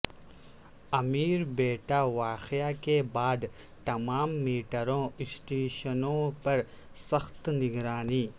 امیر پیٹ واقعہ کے بعد تمام میٹرو اسٹیشنوں پر سخت نگرانی